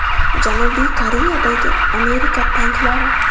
Janubiy Koreyadagi Amerika tanklari.